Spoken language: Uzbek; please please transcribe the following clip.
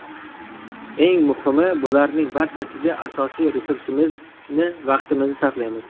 Eng muhimi bularning barchasiga asosiy resursimizni vaqtimizni sarflaymiz.